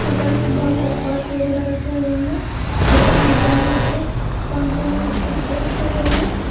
ऊपर मे बहुत सारे पर्स वगैरा रखे हुए हैं ऊपर में दो मोर के पंखुड़ी रखे हुए हैं।